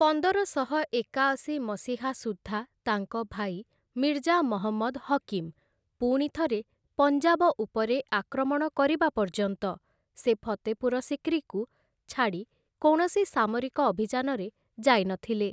ପନ୍ଦରଶହ ଏକାଅଶୀ ମସିହା ସୁଦ୍ଧା ତାଙ୍କ ଭାଇ ମିର୍ଜା ମହମ୍ମଦ୍‌ ହକିମ୍‌ ପୁଣିଥରେ ପଞ୍ଜାବ ଉପରେ ଆକ୍ରମଣ କରିବା ପର୍ଯ୍ୟନ୍ତ, ସେ ଫତେପୁର ସିକ୍ରିକୁ ଛାଡ଼ି କୌଣସି ସାମରିକ ଅଭିଯାନରେ ଯାଇନଥିଲେ ।